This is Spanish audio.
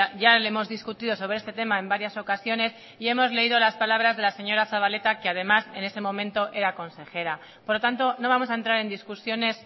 ya le hemos discutido sobre este tema en varias ocasiones y hemos leído las palabras de la señora zabaleta que además en ese momento era consejera por lo tanto no vamos a entrar en discusiones